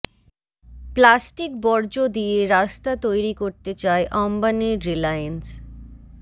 plastic বর্জ্য দিয়ে রাস্তা তৈরি করতে চায় অম্বানির রিলায়েন্স